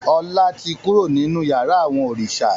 Ọlá tí kúrò nínú yàrá àwọn òrìṣà.